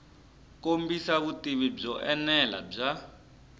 kombisa vutivi byo enela bya